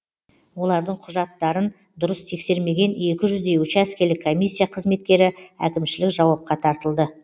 олардың құжаттарын дұрыс тексермеген екі жүздей учаскелік комиссия қызметкері әкімшілік жауапқа тартылды